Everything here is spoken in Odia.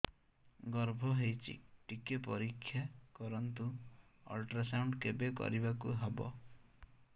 ଗର୍ଭ ହେଇଚି ଟିକେ ପରିକ୍ଷା କରନ୍ତୁ ଅଲଟ୍ରାସାଉଣ୍ଡ କେବେ କରିବାକୁ ହବ